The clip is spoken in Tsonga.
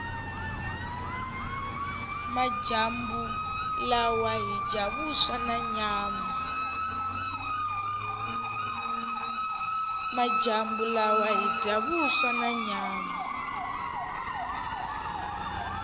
majambu lawa hhija vuswa nanyama